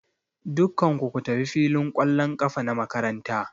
Dukkan ku ku tafi filin ƙwallon ƙafa na makaranta!